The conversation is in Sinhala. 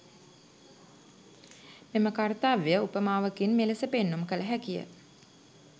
මෙම කර්‍තව්‍යය උපමාවකින් මෙලෙස පෙන්නුම් කළ හැකිය.